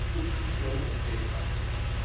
Bu çıxış yolu onu xeyli sakitləşdirdi.